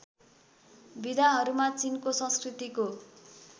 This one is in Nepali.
विधाहरूमा चिनको संस्कृतिको